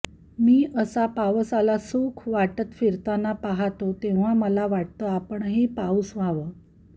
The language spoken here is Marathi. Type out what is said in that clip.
मी असा पावसाला सुख वाटत फिरताना पाहतो तेव्हा मला वाटतं आपणही पाऊस व्हावं